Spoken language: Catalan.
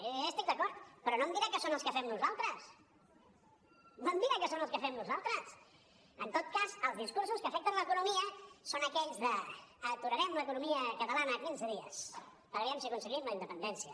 jo ja hi estic d’acord però no em dirà que són els que fem nosaltres no em dirà que són els que fem nosaltres en tot cas els discursos que afecten l’economia són aquells d’ aturarem l’economia catalana quinze dies per aviam si aconseguim la independència